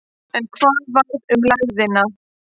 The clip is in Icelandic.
En hvað varð um lægðina?